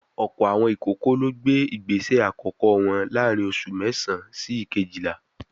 Ọ̀pọ̀ àwọn ìkókó ló gbé ìgbésẹ àkọ́kọ́ wọn láàárín oṣù mẹ́sàán sí ìkéjìlá